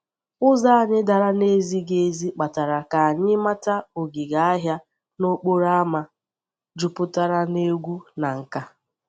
Ụzọ anyị dara na-ezighi ezi kpatara ka anyị mata ogige ahịa n'okporo ámá jupụtara na egwu na nka.